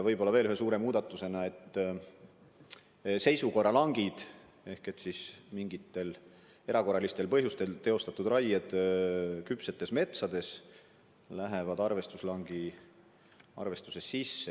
Ja teine suur muudatus on, et mingitel erakorralistel põhjustel teostatud raied küpsetes metsades lähevad arvestuslangi arvestuse sisse.